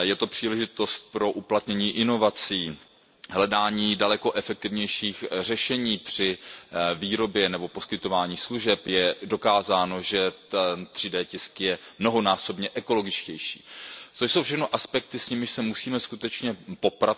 Je to příležitost pro uplatnění inovací, hledání daleko efektivnějších řešení při výrobě nebo poskytování služeb. Je dokázáno, že 3D tisk je mnohonásobně ekologičtější, což jsou všechno aspekty, s nimiž se musíme skutečně